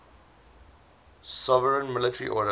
sovereign military order